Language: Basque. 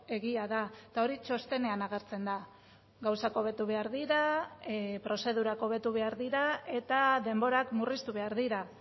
egia da eta hori txostenean agertzen da gauzak hobetu behar dira prozedurak hobetu behar dira eta denborak murriztu behar dira